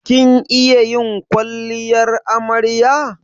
Kin iya yin kwalliyar amarya?